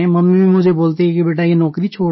mummy भी मुझे बोलती हैं कि बेटा वो नौकरी छोड़ दे